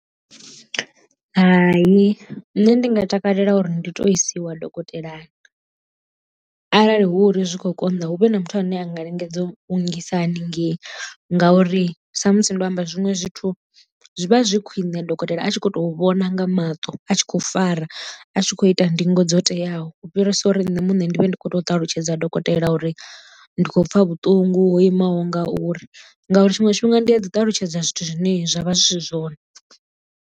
Hai nṋe ndi nga takalela uri ndi tou isiwa dokotelani arali hu uri zwi khou konḓa hu vhe na muthu ane a nga lingedza u nngisa hanengei ngauri sa musi ndo amba zwiṅwe zwithu zwi vha zwi khwine dokotela a tshi kho to vhona nga maṱo a tshi khou fara a tshi kho ita ndingo dzo teaho u fhirisa uri nṋe muṋe ndi vhe ndi kho to ṱalutshedza dokotela uri ndi khou pfha vhuṱungu ho imaho ngauri ngauri tshiṅwe tshifhinga ndi a dzi ṱalutshedza zwithu zwine zwa vha zwi si zwone.